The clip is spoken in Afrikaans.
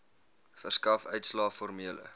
verskaf uitslae formele